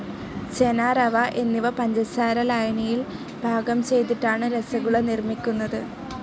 ചെന, റവ എന്നിവ പഞ്ചസാര ലായനിയിൽ പാകം ചെയ്തിട്ടാണ് രസഗുള നിർമ്മിക്കുന്നത്.